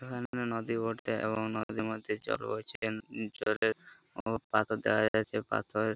এইটা একটা নদী বটে এবং নদীর মধ্যে জল বইছে নদীর জলে ও পাথর দেওয়া হয়েছে পাথর--